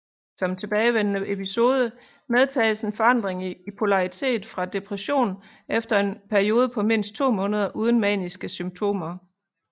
Som tilbagevendende episode medtages en forandring i polaritet fra depression efter en periode på mindst to måneder uden maniske symptomer